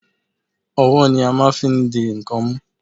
Owó ni a máa n fi n di ń kan mú